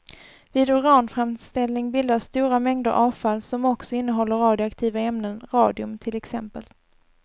Vid uranframställning bildas stora mängder avfall som också innehåller radioaktiva ämnen, radium till exempel.